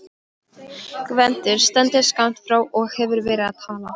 Gvendur stendur skammt frá og hefur verið að tala.